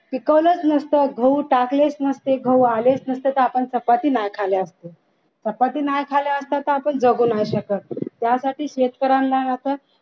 पिकवलच नसतं गहू टाकलेच नसते गहू आलेच नसते तर आपण चपाती नाही खाल्ली असती चपाती नाही खाल्ली असती तर आपण जगु नाही शकत त्यासाठी शेतकऱ्यांना ना असं